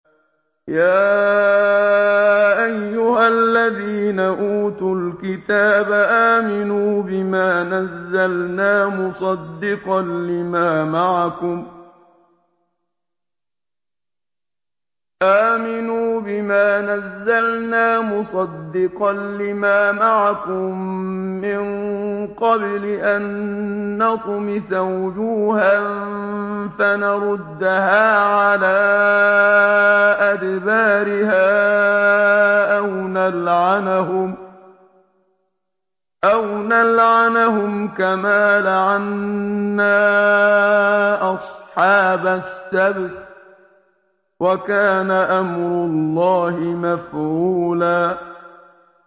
يَا أَيُّهَا الَّذِينَ أُوتُوا الْكِتَابَ آمِنُوا بِمَا نَزَّلْنَا مُصَدِّقًا لِّمَا مَعَكُم مِّن قَبْلِ أَن نَّطْمِسَ وُجُوهًا فَنَرُدَّهَا عَلَىٰ أَدْبَارِهَا أَوْ نَلْعَنَهُمْ كَمَا لَعَنَّا أَصْحَابَ السَّبْتِ ۚ وَكَانَ أَمْرُ اللَّهِ مَفْعُولًا